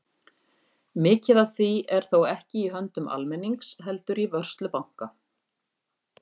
Mikið af því er þó ekki í höndum almennings heldur í vörslu banka.